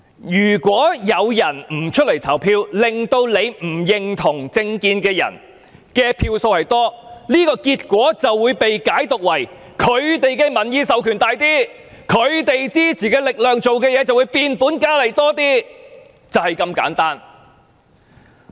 如果有市民不出來投票，令跟他們不同政見的候選人得票較多，這個結果便會被解讀為，那些候選人有較大的民意授權，他們支持的事情便會壯大，就是這麼簡單。